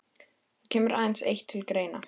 Það kemur aðeins eitt til greina.